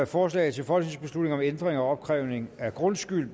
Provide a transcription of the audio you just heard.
forslag til folketingsbeslutning om ændring af opkrævning af grundskyld